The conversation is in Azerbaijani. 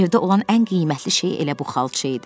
Evdə olan ən qiymətli şey elə bu xalça idi.